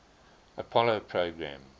apollo program